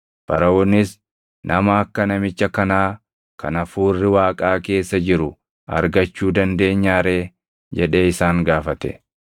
Faraʼoonis, “Nama akka namicha kanaa kan Hafuurri Waaqaa keessa jiru argachuu dandeenyaa ree?” jedhee isaan gaafate.